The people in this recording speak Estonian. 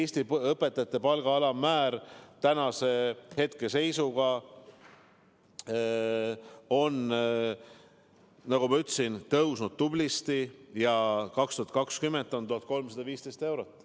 Eesti õpetajate palga alammäär tänase seisuga on, nagu ma ütlesin, tublisti tõusnud – 2020. aastal on see 1315 eurot.